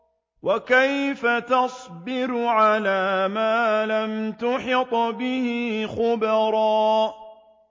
وَكَيْفَ تَصْبِرُ عَلَىٰ مَا لَمْ تُحِطْ بِهِ خُبْرًا